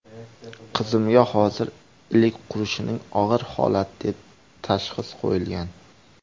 Qizimga hozir ‘ilik qurishining og‘ir holati’ deb tashxis qo‘yilgan.